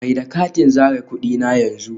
Mai da katin zare kudi na yanzu